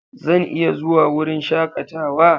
Zan iya zuwa wurin shakatawa.